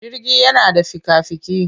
Jirgi yana da fika-fiki.